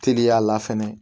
Teliya la fɛnɛ